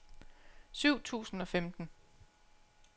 syv tusind og femten